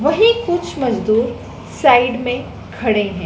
वहीं कुछ मजदूर साइड में खड़े है।